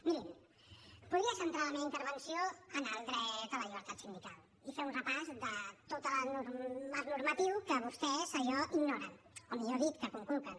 mirin podria centrar la meva intervenció en el dret a la llibertat sindical i fer un repàs de tot el marc normatiu que vostès allò ignoren o millor dit que conculquen